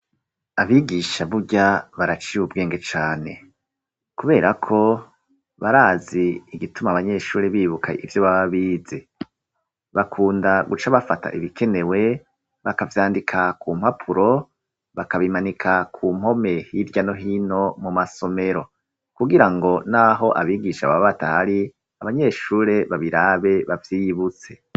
abigisha burya baraciya ubwenge cane kuberako barazi igituma abanyeshuri bibuka ivyo bababize bakunda guca bafata ibikenewe bakavyandika ku mpapuro bakabimanika kumpome hirya no hino mu masomero kugira ngo n'aho abigisha baba batahari abanyeshuri babirabe bavyiyibutse